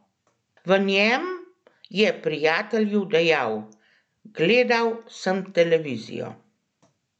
V njem je prijatelju dejal: 'Gledal sem televizijo.